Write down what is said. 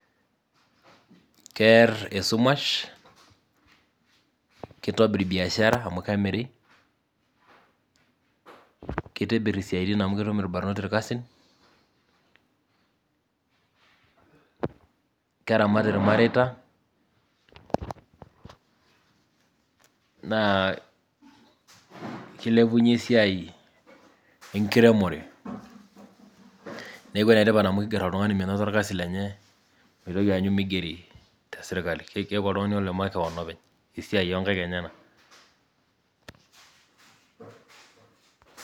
Keer esumash ,kitobir biashara amu kemiri ,kitibir isiatin amu ketum irbanot irkasin ,keramat irmareita naa kilepunyie esiaai enkiremore niaku ene tipat amu kiger oltungani menoto orkasi lenye meitoki aanyu meigeri. Keaku ake oltungani ole makewon openy ,esiaai oonkaink enyenak .